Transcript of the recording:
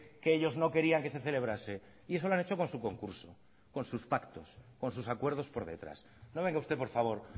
que ellos no querían que se celebrase y eso lo han hecho con su concurso con sus pactos con sus acuerdos por detrás no venga usted por favor